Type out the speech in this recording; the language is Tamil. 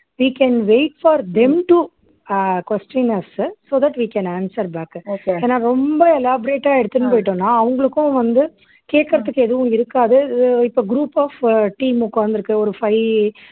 we can wait for them to அஹ் question us உ so that we can answer back உ ஏன்னா ரொம்ப elaborate ஆ எடுத்துனு போயிட்டோம்ன்னா அவங்களுக்கும் வந்து கேட்கிறதுக்கு எதுவும் இருக்காது இப்ப group of உ team உட்கார்ந்து இருக்கு ஒரு five